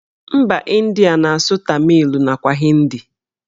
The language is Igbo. Mba Ịndia na-asụ tamịl nakwa hindi